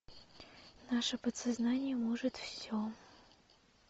наше подсознание может все